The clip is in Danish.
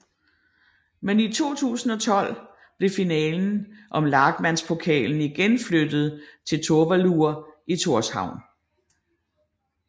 Men i 2012 blev finalen om Lagmandspokalen igen flyttet til Tórsvøllur i Tórshavn